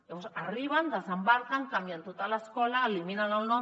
llavors arriben desembarquen canvien tota l’escola n’eliminen el nom